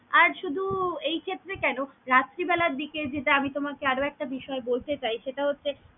আর শুধু এই ক্ষেত্রে কেন রাত্রি বেলার দিকে যেটা আমি তোমাকে আরও একটা বিষয় বলতে চাই সেটা হছে।